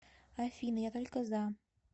афина я только за